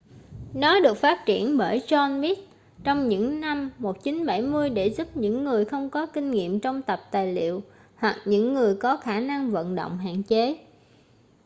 nó được phát triển bởi john smith trong những năm 1970 để giúp những người không có kinh nghiệm trong tập tài liệu hoặc những người có khả năng vận động hạn chế